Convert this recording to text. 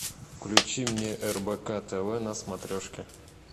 включи мне рбк тв на смотрешке